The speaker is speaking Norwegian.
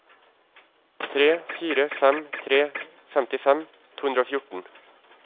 tre fire fem tre femtifem to hundre og fjorten